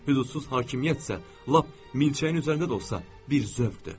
Hüqudsuz hakimiyyət isə lap milçəyin üzərində də olsa bir zövqdür.